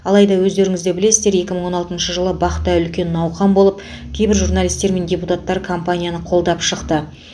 алайда өздеріңіз де білесіздер екі мың он алтыншы жылы бақ та үлкен науқан болып кейбір журналистер мен депутаттар компанияны қолдап шықты